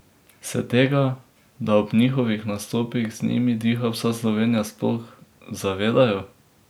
Se tega, da ob njihovih nastopih z njimi diha vsa Slovenija, sploh zavedajo?